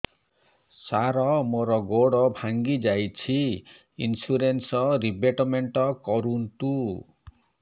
ସାର ମୋର ଗୋଡ ଭାଙ୍ଗି ଯାଇଛି ଇନ୍ସୁରେନ୍ସ ରିବେଟମେଣ୍ଟ କରୁନ୍ତୁ